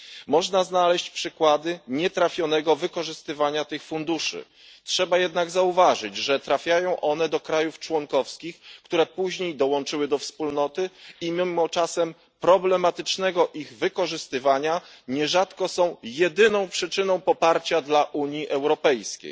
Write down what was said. Można znaleźć przykłady nietrafionego wykorzystywania tych funduszy, trzeba jednak zauważyć, że trafiają one do państw członkowskich, które dołączyły później do Wspólnoty, i mimo czasem problematycznego ich wykorzystywania nierzadko są jedyną przyczyną poparcia dla Unii Europejskiej.